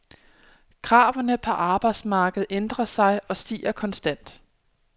Kravene på arbejdsmarkedet ændrer sig og stiger konstant.